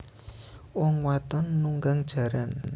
Wong wadon nunggang jaran